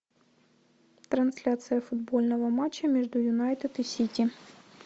трансляция футбольного матча между юнайтед и сити